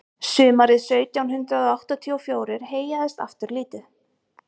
sumarið sautján hundrað áttatíu og fjórir heyjaðist aftur lítið